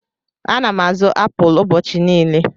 Ana m azụ apụl ụbọchị niile.